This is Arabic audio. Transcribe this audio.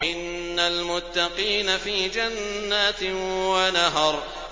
إِنَّ الْمُتَّقِينَ فِي جَنَّاتٍ وَنَهَرٍ